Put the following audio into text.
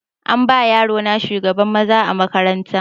An bama yaro na shugaban maza a makaranta